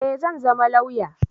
Eh zan zama lauya